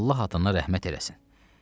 Allah adına rəhmət eləsin.